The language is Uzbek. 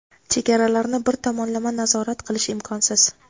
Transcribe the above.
Chegaralarni bir tomonlama nazorat qilish imkonsiz.